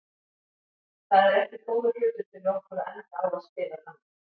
Það er ekki góður hlutur fyrir okkur að enda á að spila þannig.